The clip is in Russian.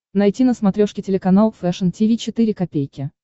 найти на смотрешке телеканал фэшн ти ви четыре ка